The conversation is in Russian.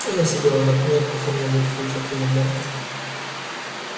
она сидела на пне в каком нибудь футе от его морды